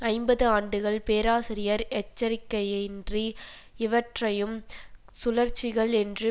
ஐம்பது ஆண்டுகள் பேராசிரியர் எச்சரிக்கையின்றி இவற்றையும் சுழற்சிகள் என்று